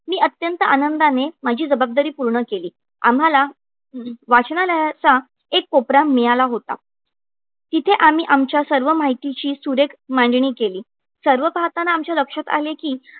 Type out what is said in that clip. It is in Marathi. मी अत्यंत आनंदाने मी जबाबदारी पूर्ण केली. आम्हाला वाचनालयाचा एक कोपरा मिळाला होता. तिथे आम्ही आमच्या सर्व माहितीची सुरेख मांडणी केली. सर्व पाहताना आमच्या लक्षात आले की,